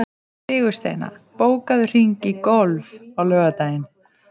Sigursteina, bókaðu hring í golf á laugardaginn.